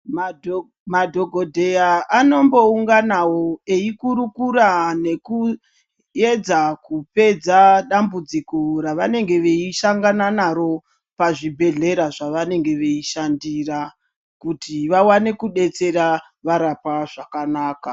Madhokodheya anombounganawo eikurukura nekuedza kupedza dambudziko ravanege veisangana naro pazvibhehlera zvavanenge veishandira kuti vawane kudetsera varapwa zvakanaka.